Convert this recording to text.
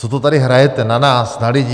Co to tady hrajete na nás, na lidi?